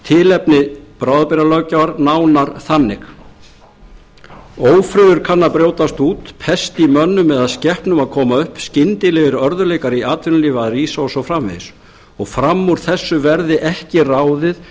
og tilgreinir tilefni bráðabirgðalöggjafar nánar þannig ófriður kann að brjótast út pest í mönnum eða skepnum að koma upp skyndilegir örðugleikar í atvinnulífi að rísa og svo framvegis og fram úr þessu verði ekki ráðið